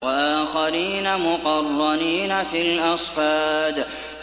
وَآخَرِينَ مُقَرَّنِينَ فِي الْأَصْفَادِ